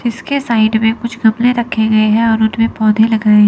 इसके साइड में कुछ गमले रखे गए है और उनमें पौधे लगाए --